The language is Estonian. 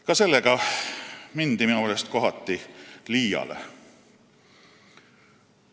Ka sellega mindi minu meelest kohati liiale.